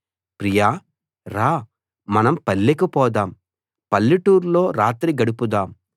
ప్రియా రా మనం పల్లెకు పోదాం పల్లెటూర్లో రాత్రి గడుపుదాం